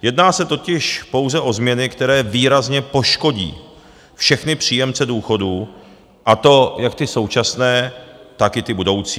Jedná se totiž pouze o změny, které výrazně poškodí všechny příjemce důchodů, a to jak ty současné, tak i ty budoucí.